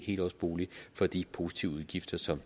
helårsbolig for de positive udgifter som